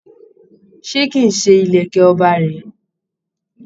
Ṣé kì í ṣe ìlèkè ọba rèé?